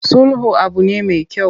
Sulhu abu ne me kyau.